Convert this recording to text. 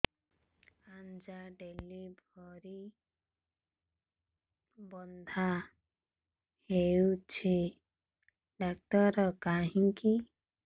ଆଜ୍ଞା ଡେଲିଭରି ବଥା ହଉଚି ଡାକ୍ତର କାହିଁ କି